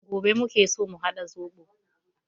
Gobe muke so mu haɗa zobo